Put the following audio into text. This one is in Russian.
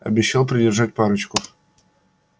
обещал придержать парочку